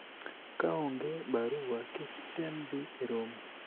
kaonge barua ,kik item dhi e romo